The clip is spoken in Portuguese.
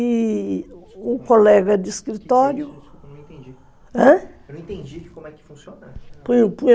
e o colega de escritório... Eu não entendi, ãh? Eu não entendi como é que funcionava,